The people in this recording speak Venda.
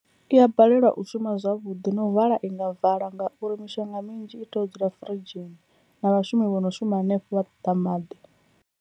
I a balelwa u shuma zwavhuḓi na u vala i nga vala ngauri mishonga minzhi i tea u dzula firidzhini na vhashumi vho no shuma hanefho vha ṱoḓa maḓi.